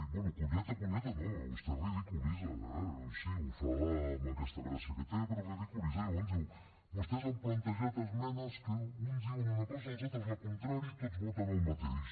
bé conyeta conyeta no vostè ridiculitza eh sí ho fa amb aquesta gràcia que té però ridiculitza i llavors diu vostès han plantejat esmenes que uns diuen una cosa i els altres la contrària i tots voten el mateix